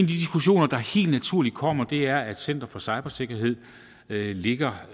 diskussioner der helt naturligt kommer er om at center for cybersikkerhed ligger